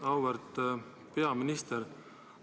Auväärt peaminister!